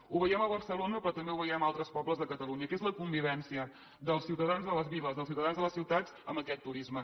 ho veiem a barcelona però també ho veiem a altres pobles de catalunya que és la convivència dels ciutadans de les viles dels ciutadans de les ciutats amb aquest turisme